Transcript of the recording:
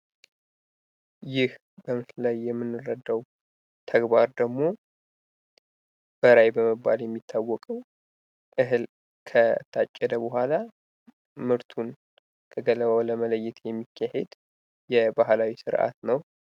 ይህ በምስሉ ላይ የምንረዳው ተግባር ደግሞ በራያ በመባል የሚታወቀው እህል ከታጨደ በኋላ ምርቱን ከገለባ ለመለየት የባህላዊ ስርዓት ነው።